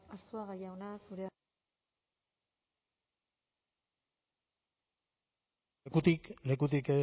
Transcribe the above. arzuaga jauna zurea da hitza lekutik lekutik